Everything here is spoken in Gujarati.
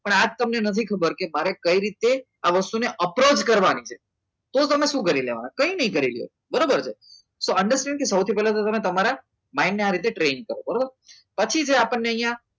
પણ આ તમને નથી ખબર કે મારે કઈ રીતે આ વસ્તુને અપ્રોચ કરવાની છે તો તમને શું કરી લેવાના કઈ નહીં કરી લેવાના બરોબર છે તો understand કે સૌથી પહેલા તમે તમારા મનને આ રીતે ટ્રેન કરશો બરોબર પછી છે આપણને અહીંયા